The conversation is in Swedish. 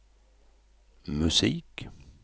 musik